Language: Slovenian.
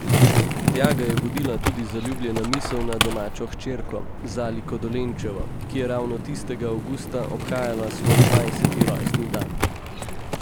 Tja ga je vodila tudi zaljubljena misel na domačo hčerko, Zaliko Dolenčevo, ki je ravno tistega avgusta obhajala svoj dvajseti rojstni dan.